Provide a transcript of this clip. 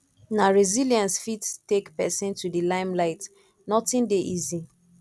na resilience fit take pesin to di limelight nothing dey easy